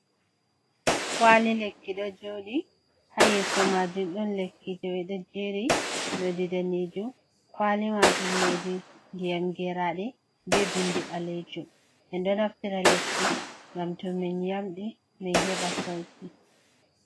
Kwali lekki ɗo joɗi i ha yeso majum ɗon lekki ji ɓeɗo jeri nodi danejum kwali majun nodi ndiyam geraɗe be bindi balejum en do naftira lekki ngam to min yamɗai min heba sauki.